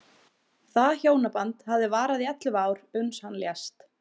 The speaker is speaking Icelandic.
Það hjónaband hafði varað í ellefu ár, uns hann lést.